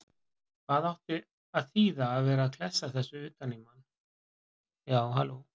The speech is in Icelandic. HVAÐ ÁTTI AÐ ÞÝÐA AÐ VERA AÐ KLESSA ÞESSU UTAN Í MANN!